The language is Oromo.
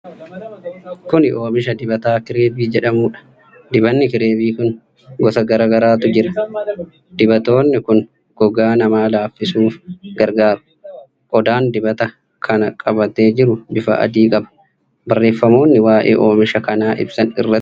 Kuni Oomisha dibataa Kireevii jedhamudha. Dibanni Kireevii kun gosa garaagaraatu jira. Dibatoonni kun gogaa namaa laaffisuuf gargaaru. Qodaan dibata kana qabatee jiru bifa adii qaba. Bareeffamoonni waa'ee oomisha kanaa ibsan irratti barreeffamanii jiru.